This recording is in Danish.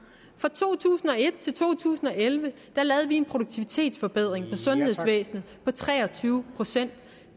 fra to tusind og et til to tusind og elleve lavede vi en produktivitetsforbedring sundhedsvæsenet på tre og tyve procent